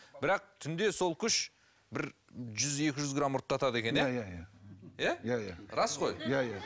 бірақ түнде сол күш бір жүз екі жүз грамм ұрттатады екен иә иә иә иә иә иә рас қой иә иә